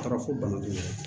A taara fɔ bana min na